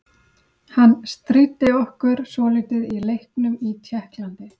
Hann stríddi okkur svolítið í leiknum í Tékklandi.